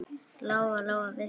Lóa-Lóa vissi það.